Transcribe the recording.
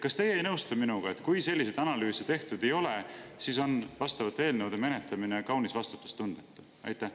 Kas teie ei nõustu minuga, et kui selliseid analüüse tehtud ei ole, siis on vastavate eelnõude menetlemine kaunis vastutustundetu?